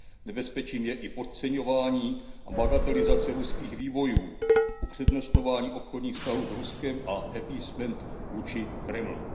Nebezpečím je i podceňování a bagatelizace ruských výbojů, upřednostňování obchodních vztahů s Ruskem a appeasement vůči Kremlu.